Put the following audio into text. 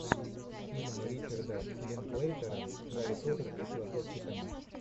фильм ричарда линклейтера гарри поттер и философский камень